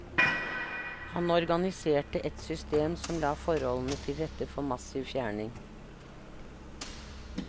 Han organiserte et system som la forholdene til rette for massiv fjerning.